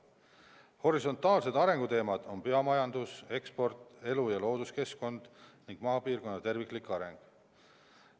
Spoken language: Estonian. Horisontaalsed arendusteemad on biomajandus, eksport, elu- ja looduskeskkond ning maapiirkonna terviklik areng.